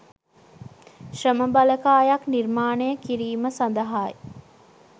ශ්‍රම බලකායක් නිර්මාණය කිරීම සඳහායි